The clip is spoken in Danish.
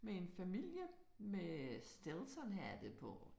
Med en familie med Steltonhatte på